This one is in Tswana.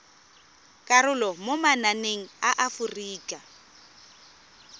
karolo mo mananeng a aforika